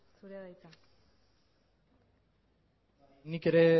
zurea da hitza nik ere